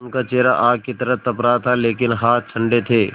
उनका चेहरा आग की तरह तप रहा था लेकिन हाथ ठंडे थे